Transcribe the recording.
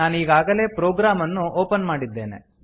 ನಾನೀಗಾಗಲೇ program ಅನ್ನು open ಮಾಡಿದ್ದೇನೆ